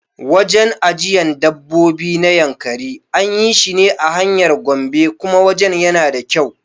Wajen ajiyan dabbobi na Yankari anyi shine a hanyar Gombe kuma wajen yana da kyau